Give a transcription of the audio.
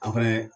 An fɛnɛ